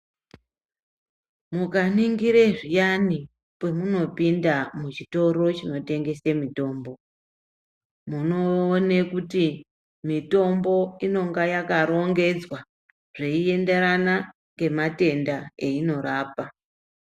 Mukaningire zviyani pamunopinda muzvitoro chinotengese mitombo, munowone kuti mitombo inonga yakarongedzwa zveyiyenderana ngematenda eyinorapa.